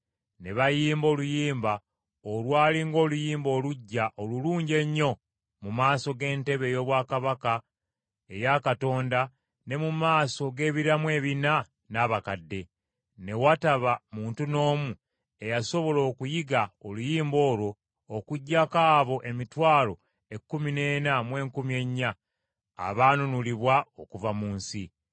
Ne bayimba oluyimba olwali ng’oluyimba oluggya olulungi ennyo mu maaso g’entebe ey’obwakabaka eya Katonda ne mu maaso g’ebiramu ebina n’abakadde. Ne wataba muntu n’omu eyasobola okuyiga oluyimba olwo okuggyako abo emitwalo ekkumi n’ena mu enkumi ennya, abaanunulibwa okuva mu nsi.